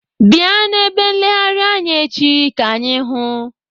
Bịa n'ebe nleghari anya echi ka anyị hụụ!